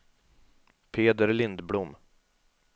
Peder Lindblom